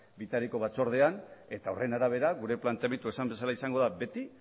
bitariko batzordean eta horren arabera gure planteamendua esan bezala izango da beti